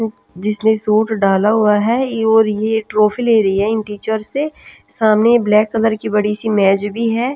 जिसने शूट डाला हुआ है और ये ट्रोफी ले रही है इन टीचर से सामने ब्लैक कलर की बड़ी सी मैज भी है--